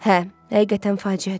Hə, həqiqətən faciədir.